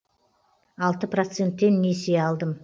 алты процентпен несие алдым